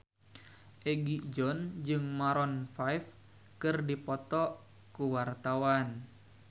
Egi John jeung Maroon 5 keur dipoto ku wartawan